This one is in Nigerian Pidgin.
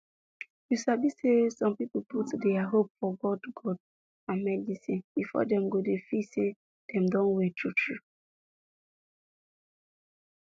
you sabi say some people put dia hope for god god and medicine before dem go dey feel say dem Accepted well true true